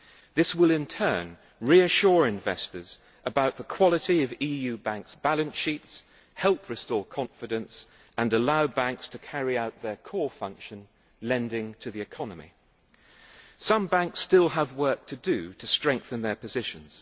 This will, in turn, reassure investors about the quality of EU banks' balance sheets, help restore confidence, and allow banks to carry out their core function lending to the economy. Some banks still have work to do to strengthen their positions.